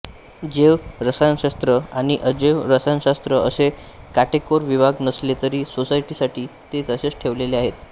जैव रसायनशास्त्र आणि अजैव रसायनशास्त्र असे काटेकोर विभाग नसले तरी सोयीसाठी ते तसेच ठेवलेले आहेत